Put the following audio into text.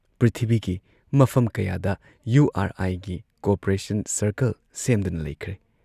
ꯄ꯭ꯔꯤꯊꯤꯕꯤꯒꯤ ꯃꯐꯝ ꯀꯌꯥꯗ ꯌꯨ ꯑꯥꯔ ꯑꯥꯏꯒꯤ ꯀꯣꯑꯣꯄꯔꯦꯁꯟ ꯁꯔꯀꯜ ꯁꯦꯝꯗꯨꯅ ꯂꯩꯈ꯭ꯔꯦ ꯫